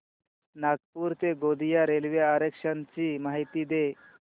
नागपूर ते गोंदिया रेल्वे आरक्षण ची माहिती दे